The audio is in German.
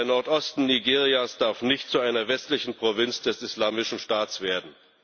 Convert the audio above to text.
Der Nordosten Nigerias darf nicht zu einer westlichen Provinz des Islamischen Staats werden.